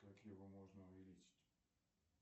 как его можно увеличить